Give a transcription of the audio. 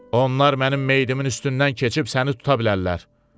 Onlar mənim meyidimin üstündən keçib səni tuta bilərlər.